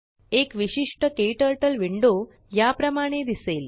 एक विशिष्टकेटरटलविंडो याप्रमाणे दिसेल